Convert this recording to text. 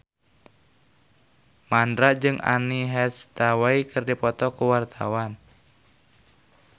Mandra jeung Anne Hathaway keur dipoto ku wartawan